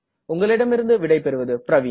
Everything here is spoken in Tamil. மொழியாக்கம் செய்தது பிரவின்